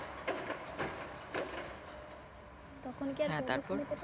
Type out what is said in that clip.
তখন কি আর